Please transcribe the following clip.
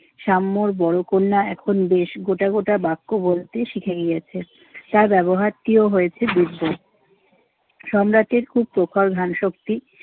সাম্যর বড় কন্যা এখন বেশ গোটা গোটা বাক্য বলতে শিখে গিয়েছে। যা ব্যবহারটিও হয়েছে দিব্যি। সম্রাটের খুব প্রখর ঘ্রাণশক্তি।